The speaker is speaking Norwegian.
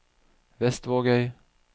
Vestvågøy